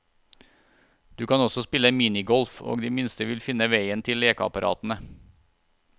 Du kan også spille minigolf og de minste vil finne veien til lekeapparatene.